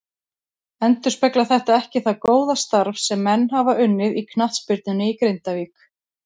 Endurspeglar þetta ekki það góða starf sem menn hafa unnið í knattspyrnunni í Grindavík.